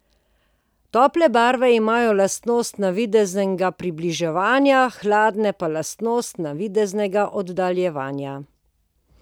Tople barve imajo lastnost navideznega približevanja, hladne pa lastnost navideznega oddaljevanja.